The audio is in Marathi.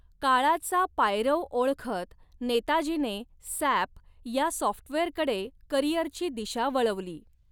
काळाचा पायरव ओळखत नेताजीने सॅप या सॉफ्टवेअरकडे करियरची दिशा वळवली.